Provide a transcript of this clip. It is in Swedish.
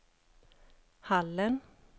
Hallen